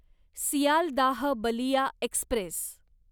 Sealdah Ballia Express